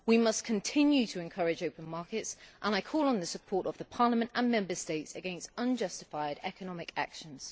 We must continue to encourage open markets, and I call on the support of the Parliament and Member States against unjustified economic actions.